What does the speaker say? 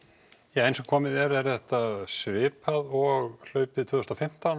eins og komið er þetta svipað og hlaupið tvö þúsund og fimmtán